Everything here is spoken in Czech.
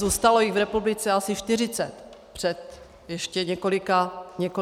Zůstalo jich v republice asi 40 před ještě několika lety.